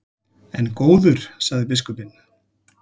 En góður, sagði biskupinn.